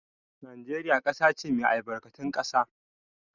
Najeriya ƙasa ce mai albarkatun ƙasa.